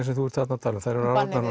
sem þú ert þarna að tala um eru